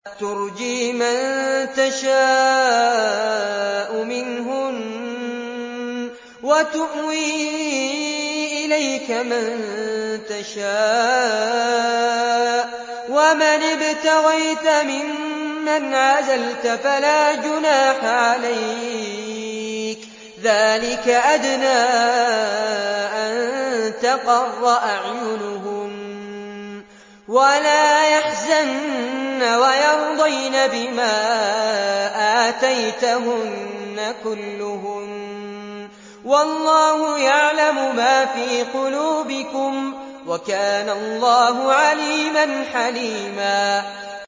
۞ تُرْجِي مَن تَشَاءُ مِنْهُنَّ وَتُؤْوِي إِلَيْكَ مَن تَشَاءُ ۖ وَمَنِ ابْتَغَيْتَ مِمَّنْ عَزَلْتَ فَلَا جُنَاحَ عَلَيْكَ ۚ ذَٰلِكَ أَدْنَىٰ أَن تَقَرَّ أَعْيُنُهُنَّ وَلَا يَحْزَنَّ وَيَرْضَيْنَ بِمَا آتَيْتَهُنَّ كُلُّهُنَّ ۚ وَاللَّهُ يَعْلَمُ مَا فِي قُلُوبِكُمْ ۚ وَكَانَ اللَّهُ عَلِيمًا حَلِيمًا